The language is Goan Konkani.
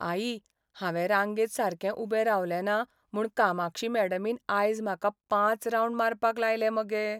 आई, हांवें रांगेंत सारकें उबें रावलें ना म्हूण कामाक्षी मॅडमीन आयज म्हाका पांच रावंड मारपाक लायले मगे.